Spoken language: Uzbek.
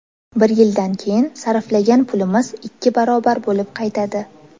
Bir yildan keyin sarflagan pulimiz ikki barobar bo‘lib qaytadi.